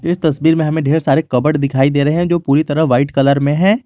इस तस्वीर मे हमें ढेर सारे कबर्ड दिखाई दे रहे हैं जो पूरी तरह व्हाइट कलर में है।